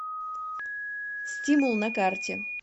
стимул на карте